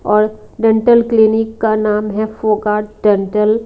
और dental clinic का नाम है डेंटल --